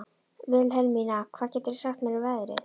Vilhelmína, hvað geturðu sagt mér um veðrið?